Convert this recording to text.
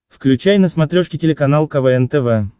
включай на смотрешке телеканал квн тв